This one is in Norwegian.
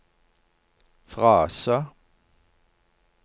frase